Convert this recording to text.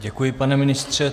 Děkuji, pane ministře.